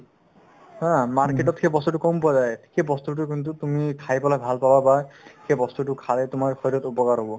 haa market তত সেই বস্তুতো কম পোৱা যায় সেইবস্তুটো কিন্তু তুমি খাই পেলাই ভাল পাব পাৰা সেই বস্তুতো খায়ে তোমাৰ শৰীৰৰ উপকাৰ হ'ব